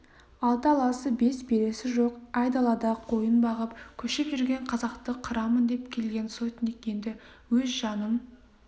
алты аласы бес бересі жоқ айдалада қойын бағып көшіп жүрген қазақты қырамын деп келген сотник енді өз жанын